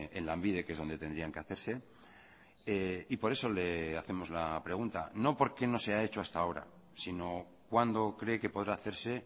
en lanbide que es donde tendrían que hacerse y por eso le hacemos la pregunta no por qué no se ha hecho hasta ahora sino cuándo cree que podrá hacerse